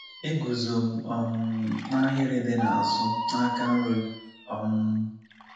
Eguzo m um n’ahịrị dị n’azụ, n’aka nri. um